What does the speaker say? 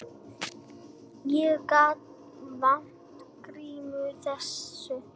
Ég gat vart trúað þessu.